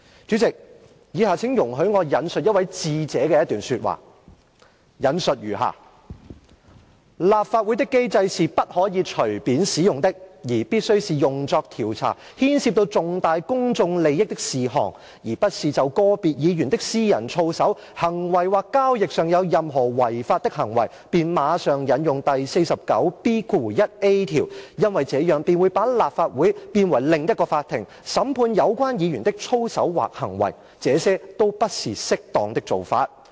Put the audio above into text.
主席，以下請容許我引述一位智者的一段說話，我引述如下："立法會的機制是不可以隨便使用的，而必須是用作調查牽涉到重大公眾利益的事項，而不是就個別議員的私人操守、行為或交易上有任何違法的行為，便馬上引用第 49B 條，因為這樣便會把立法會變為另一個法庭，審判有關議員的操守或行為，這些都不是適當的做法......